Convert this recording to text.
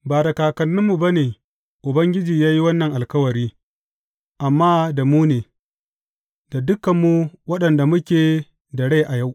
Ba da kakanninmu ba ne Ubangiji ya yi wannan alkawari, amma da mu ne, da dukanmu waɗanda muke da rai a yau.